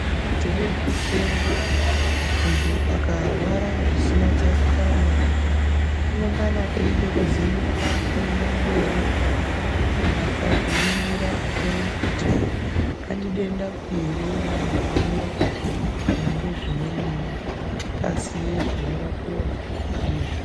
Tidenda mupengo muntu akarwara zvisina tsarukano inengana eida kuvhenekwa kuenda mberi kunasa kuringira kuona Kuti handidendapi ere ramugumira kana nezvimweniwo aziye zvinorapiwa ndizvo.